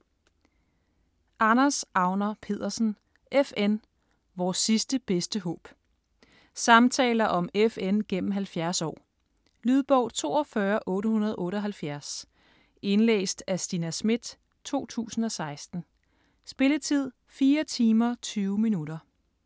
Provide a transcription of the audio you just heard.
Agner Pedersen, Anders: FN: vores sidste, bedste håb Samtaler om FN gennem 70 år. Lydbog 42878 Indlæst af Stina Schmidt, 2016. Spilletid: 4 timer, 20 minutter.